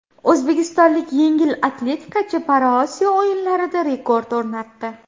O‘zbekistonlik yengil atletikachi ParaOsiyo o‘yinlarida rekord o‘rnatdi.